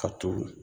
Ka turu